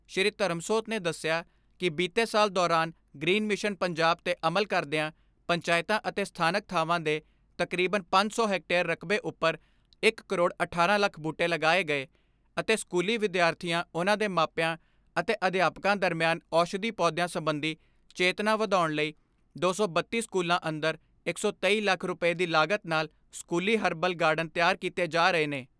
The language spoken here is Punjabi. ਸ਼੍ਰੀ ਧਰਮਸੋਤ ਦੇ ਦੱਸਿਆ ਕਿ ਬੀਤੇ ਸਾਲ ਦੌਰਾਨ ਗ੍ਰੀਨ ਮਿਸ਼ਨ ਪੰਜਾਬ ਤੇ ਅਮਲ ਕਰਦਿਆਂ ਪੰਚਾਇਤਾਂ ਅਤੇ ਸਥਾਨਕ ਥਾਂਵਾਂ ਦੇ ਤਕਰੀਬਨ ਪੰਜ ਸੌ ਹੈਕਟੇਅਰ ਰਕਬੇ ਉੱਪਰ ਇੱਕ ਕਰੋੜ ਅਠਾਰਾਂ ਲੱਖ ਬੂਟੇ ਲਗਾਏ ਗਏ ਅਤੇ ਸਕੂਲੀ ਵਿਦਿਆਰਥੀਆਂ ਉਨ੍ਹਾਂ ਦੇ ਮਾਪਿਆਂ ਅਤੇ ਅਧਿਆਪਕਾਂ ਦਰਮਿਆਨ ਔਸ਼ਧੀ ਪੌਧਿਆਂ ਸਬੰਧੀ ਚੇਤਨਾ ਵਧਾਉਣ ਲਈ ਦੋ ਸੌ ਬੱਤੀ ਸਕੂਲਾਂ ਅੰਦਰ ਇੱਕ ਸੌ ਤੇਈ ਲੱਖ ਰੁਪਏ ਦੀ ਲਾਗਤ ਨਾਲ਼ ਸਕੂਲੀ ਹਰਬਲ ਗਾਰਡਨ ਤਿਆਰ ਕੀਤੇ ਜਾ ਰਹੇ ਨੇ।